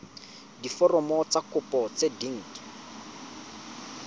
diforomo tsa kopo tse dint